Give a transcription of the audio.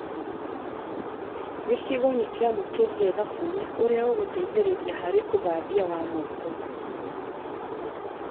Gĩcigo nĩkĩamũkĩrire thabuni ũrĩa ũgũteithĩrĩria harĩ ũthambia wa moko